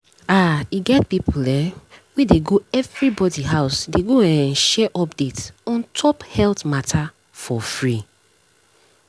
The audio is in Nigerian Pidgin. ah e get people um wey dey go everybody house dey go um share update on top health matter for free.